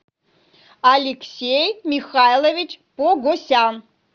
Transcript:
алексей михайлович погосян